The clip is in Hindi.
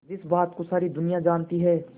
जिस बात को सारी दुनिया जानती है